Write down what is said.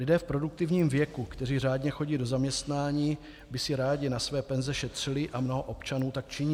Lidé v produktivním věku, kteří řádně chodí do zaměstnání, by si rádi na své penze šetřili a mnoho občanů tak činí.